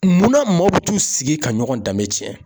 Munna maaw bɛ t'u sigi ka ɲɔgɔn danbe tiɲɛ